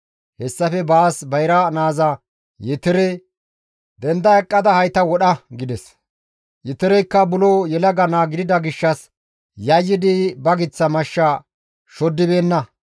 Hessafe baas bayra naaza Yetere, «Denda eqqada hayta wodha!» gides; Yootoreykka buro yelaga naa gidida gishshas yayyidi ba giththa mashsha shoddibeenna.